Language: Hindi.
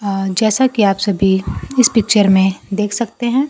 अ जैसा कि आप सभी इस पिक्चर में देख सकते हैं।